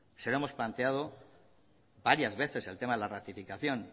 se lo hemos planteado varias veces el tema de la ratificación